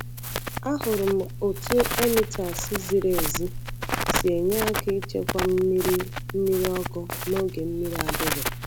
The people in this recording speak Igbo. Ahụrụ m otú emitters ziri ezi si enye aka ichekwa mmiri mmiri ọkụ n’oge mmiri adịghị.